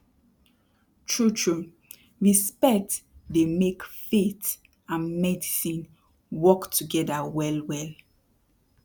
trutru respect dey make faith and medicine work togeda well well